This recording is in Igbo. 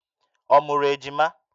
Ọ mụrụ ejima?